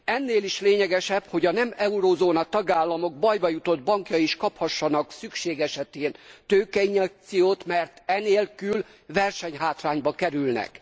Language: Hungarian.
Ennél is lényegesebb, hogy a nem eurózóna tagállamok bajba jutott bankjai is kaphassanak szükség esetén tőkeinjekciót, mert e nélkül versenyhátrányba kerülnek.